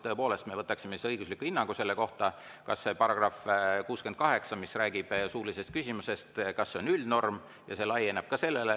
Tõepoolest, me võtaksime õigusliku hinnangu selle kohta, kas see § 68, mis räägib suulisest küsimusest, on üldnorm ja laieneb ka sellele.